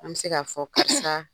An bɛ se k'a fɔ karisa